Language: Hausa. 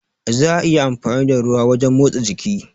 Za'a iya amfani da ruwa wajen motsa jiki.